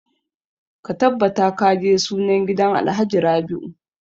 Ka tabbata ka je sunan gidan alhaji rabiu!